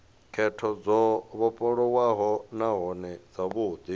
khetho dzo vhofholowaho nahone dzavhudi